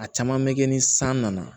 A caman bɛ kɛ ni san nana